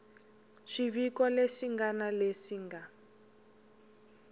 swiviko leswi ngana leswi nga